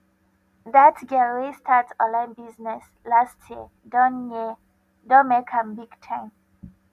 that girl wey start online business last year don year don make am big time